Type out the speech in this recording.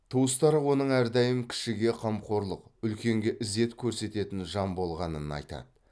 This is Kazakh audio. туыстары оның әрдайым кішіге қамқорлық үлкенге ізет көрсететін жан болғанын айтады